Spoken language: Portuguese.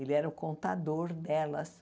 Ele era o contador delas.